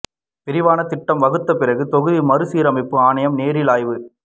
விரிவான திட்டம் வகுத்த பிறகு தொகுதி மறுசீரமைப்பு ஆணையம் நேரில் ஆய்வு